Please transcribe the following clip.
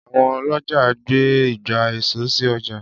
Àwọn ọlọ́jà gbé ìgbà èso sì ọjà.